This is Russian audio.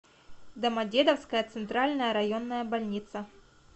домодедовская центральная районная больница